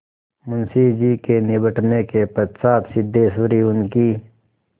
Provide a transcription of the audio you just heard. मुंशी जी के निबटने के पश्चात सिद्धेश्वरी उनकी